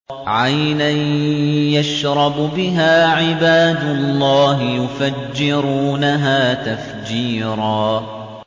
عَيْنًا يَشْرَبُ بِهَا عِبَادُ اللَّهِ يُفَجِّرُونَهَا تَفْجِيرًا